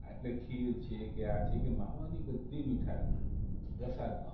એટલે ખીર છે કે આ છે કે માવાની બધી મીઠાઈઓ પ્રસાદમાં